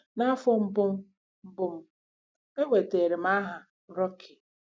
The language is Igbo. N'afọ mbụ m, mbụ m, enwetara m aha rookie.